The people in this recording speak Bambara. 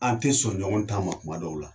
An te sɔn ɲɔgɔn ta ma kuma dɔw la.